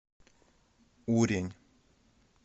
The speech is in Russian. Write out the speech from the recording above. урень